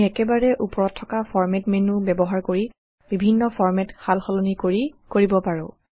আমি একেবাৰে উপৰত থকা ফৰমাত মেন্যু ব্যৱহাৰ কৰি বিভিন্ন ফৰমেট সালসলনি কৰি কৰিব পাৰো